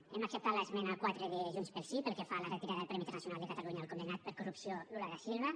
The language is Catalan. hem acceptat l’esmena quatre de junts pel sí pel que fa a la retirada del premi internacional de catalunya al condemnat per corrupció lula da silva